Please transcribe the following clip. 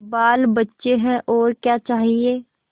बालबच्चे हैं और क्या चाहिए